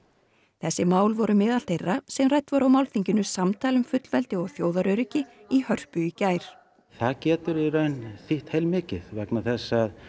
þessi mál voru meðal þeirra sem rædd voru á málþinginu samtal um fullveldi og þjóðaröryggi í Hörpu í gær það getur í raun þýtt heilmikið vegna þess að